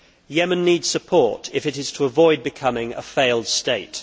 Yemen needs support if it is to avoid becoming a failed state.